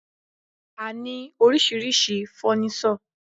A ní oríṣiríṣi fọ́nísọ̀.